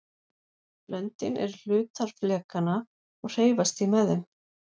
löndin eru hlutar flekanna og hreyfast því með þeim